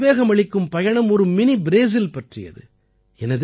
இந்த உத்வேகமளிக்கும் பயணம் ஒரு மினி ப்ரேசில் பற்றியது